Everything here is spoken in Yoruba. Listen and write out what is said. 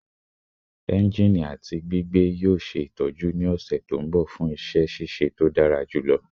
Enjini ati gbigbe yoo ṣe itọju ni ọsẹ to nbọ fun iṣẹ ṣiṣe to dara julọ